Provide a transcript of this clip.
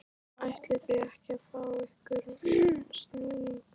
ætlið þið ekki að fá ykkur snúning?